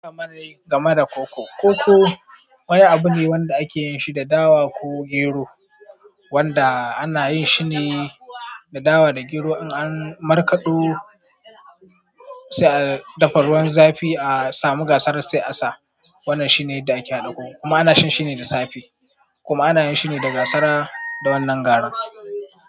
Kamar dai game da koko. Koko wani abu ne wanda ake yin shi da dawa ko gero, wanda ana yin shine da dawa da gero. In an markaɗo, sai a dafa ruwan zafi, a samu gasara sai a sa. Wannan shine yadda ake haɗa koko, kuma ana shan shine da safe. Kuma ana yin shine da gasara. Da wannan garin.